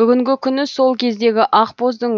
бүгінгі күні сол кездегі ақбоздың